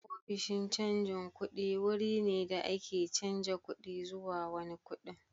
Ofishin canjin kuɗi wurin ne da ake canza kuɗi zuwa wani kuɗin.